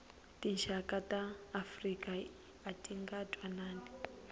tinxaka ta afrika atinga ntwanani